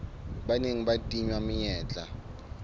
ba neng ba tingwa menyetla